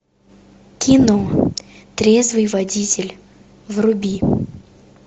кино трезвый водитель вруби